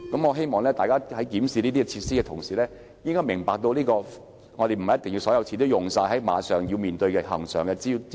我希望大家在檢視這些設施時，應明白不是所有錢也要用於應付恆常支出。